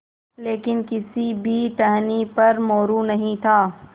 लेकिन किसी भी टहनी पर मोरू नहीं था